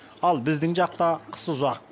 ал біздің жақта қыс ұзақ